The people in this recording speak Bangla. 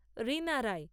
রিনা রায়